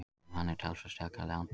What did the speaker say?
Um hann er talsverð saga í Landnámu.